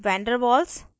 van der waals